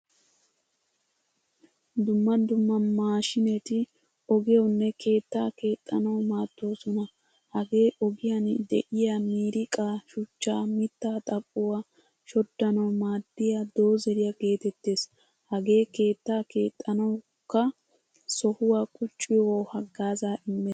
Dumma dumma mashinetti ogiyawunne keettaa keexanawu maaddosona. Hagee ogiyan deiyaa miriqqa, shuchcha, mitta xaphphuwaa shoddanawu maadiyaa doozeriyaa geetettees. Hagee keetta keexanawukka sohuwaa qucciyo haggaaza immees.